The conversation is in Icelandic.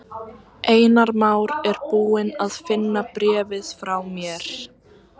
Einar Már er búinn að finna bréfið frá mér.